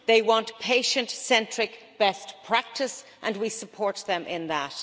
They want patient-centric best practices, and we support them in that.